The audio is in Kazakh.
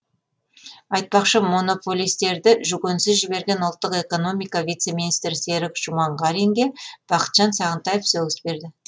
айтпақшы монополистерді жүгенсіз жіберген ұлттық экономика вице министрі серік жұманғаринге бақытжан сағынтаев сөгіс берді